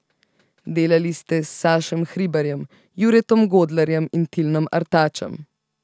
Delali ste s Sašem Hribarjem, Juretom Godlerjem in Tilnom Artačem.